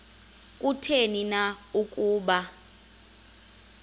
kutheni na ukuba